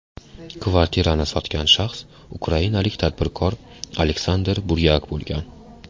Kvartirani sotgan shaxs ukrainalik tadbirkor Aleksandr Buryak bo‘lgan.